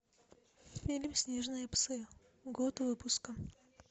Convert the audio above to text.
фильм снежные псы год выпуска